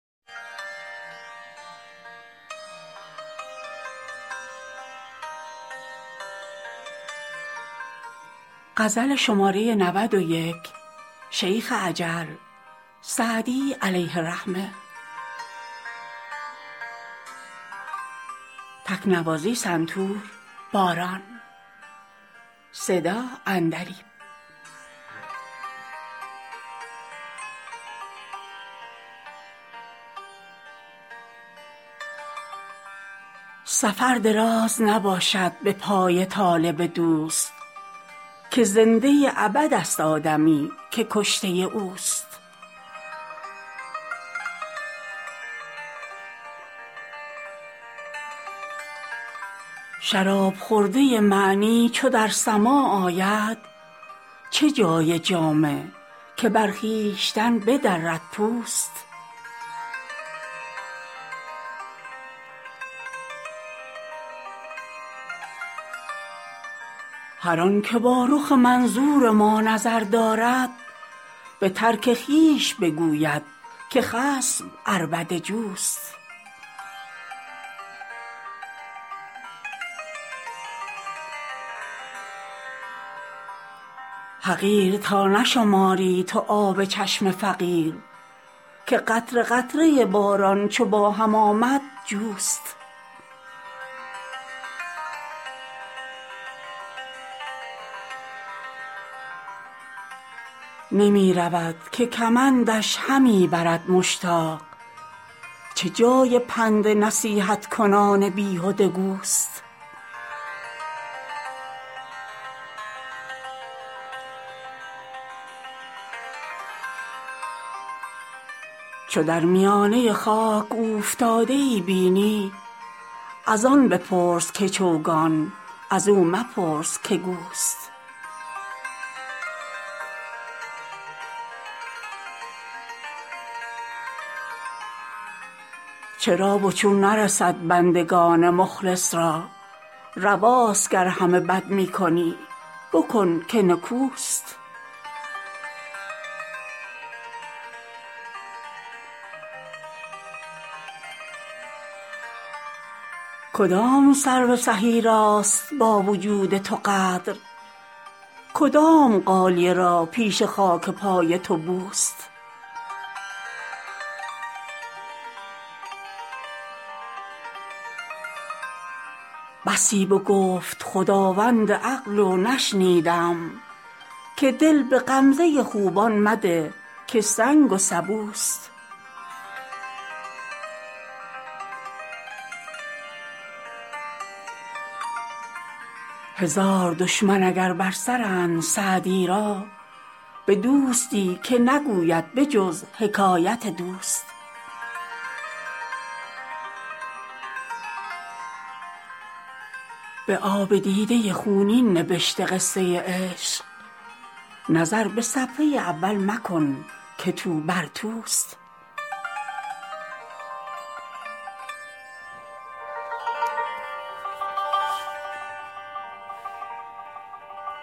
سفر دراز نباشد به پای طالب دوست که زنده ابدست آدمی که کشته اوست شراب خورده معنی چو در سماع آید چه جای جامه که بر خویشتن بدرد پوست هر آن که با رخ منظور ما نظر دارد به ترک خویش بگوید که خصم عربده جوست حقیر تا نشماری تو آب چشم فقیر که قطره قطره باران چو با هم آمد جوست نمی رود که کمندش همی برد مشتاق چه جای پند نصیحت کنان بیهده گوست چو در میانه خاک اوفتاده ای بینی از آن بپرس که چوگان از او مپرس که گوست چرا و چون نرسد بندگان مخلص را رواست گر همه بد می کنی بکن که نکوست کدام سرو سهی راست با وجود تو قدر کدام غالیه را پیش خاک پای تو بوست بسی بگفت خداوند عقل و نشنیدم که دل به غمزه خوبان مده که سنگ و سبوست هزار دشمن اگر بر سرند سعدی را به دوستی که نگوید به جز حکایت دوست به آب دیده خونین نبشته قصه عشق نظر به صفحه اول مکن که توبر توست